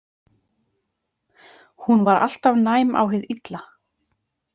Hún var alltaf næm á hið illa.